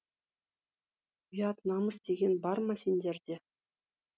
ұят намыс деген бар ма сендерде